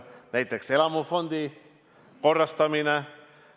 Näiteks, elamufondi korrastamine.